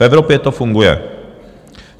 V Evropě to funguje.